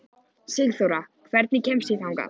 Sigþóra, hvernig kemst ég þangað?